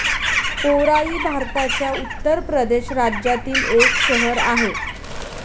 ओराई भारताच्या उत्तर प्रदेश राज्यातील एक शहर आहे.